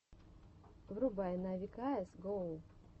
врубай нави каэс гоу